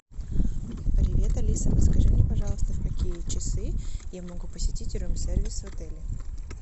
привет алиса подскажи мне пожалуйста в какие часы я могу посетить рум сервис в отеле